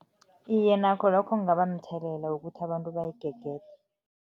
Iye, nakho lokho kungaba mthelela ukuthi abantu bayigegede.